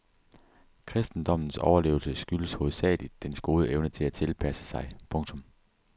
Kristendommens overlevelse skyldes hovedsageligt dens gode evne til at tilpasse sig. punktum